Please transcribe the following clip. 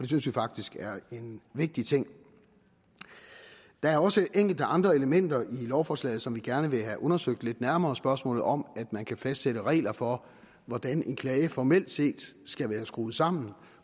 synes vi faktisk er en vigtig ting der er også enkelte andre elementer i lovforslaget som vi gerne vil have undersøgt lidt nærmere spørgsmålet om at man kan fastsætte regler for hvordan en klage formelt set skal være skruet sammen